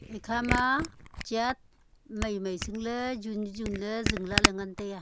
ekhama church mai mai sing ley jun jun se ley zing lah ley ngan ley a.